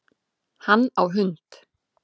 Hann á hund